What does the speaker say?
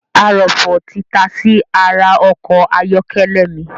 Arọ̀fọ̀ tí tasí ara ọkọ̀ ayọ́kẹ́lẹ̀ mi